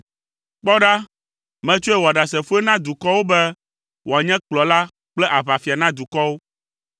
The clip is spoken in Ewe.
Kpɔ ɖa, metsɔe wɔ ɖasefoe na dukɔwo be wòanye kplɔla kple aʋafia na dukɔwo.